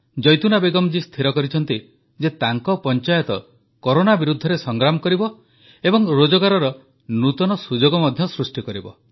ଜୈତୁନା ବେଗମ୍ ଜୀ ସ୍ଥିର କରିଛନ୍ତି ଯେ ତାଙ୍କ ପଞ୍ଚାୟତ କରୋନା ବିରୁଦ୍ଧରେ ସଂଗ୍ରାମ କରିବ ଏବଂ ରୋଜଗାରର ନୂତନ ସୁଯୋଗ ମଧ୍ୟ ସୃଷ୍ଟି କରିବ